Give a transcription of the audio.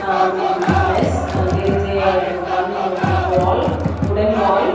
um mess there is a one wall wooden wall.